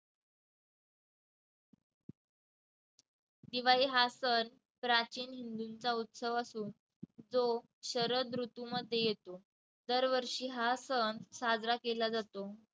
दिवाळी हा सण प्राचीन हिंदूंचा उत्सव असून तो शरद ऋतूमध्ये येतो. दरवर्षी हा सण साजरा केला जातो.